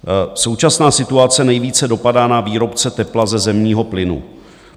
Současná situace nejvíce dopadá na výrobce tepla ze zemního plynu.